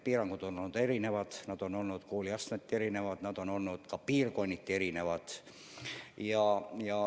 Piirangud on olnud erinevad – need on olnud kooliastmeti erinevad ja ka piirkonniti erinevad.